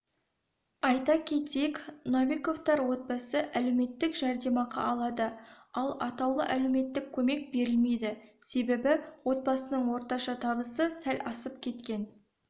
айта кетейік новиковтар отбасы әлеуметтік жәрдемақы алады ал атаулы әлеуметтік көмек берілмейді себебі отбасының орташа табысы сәл асып кеткен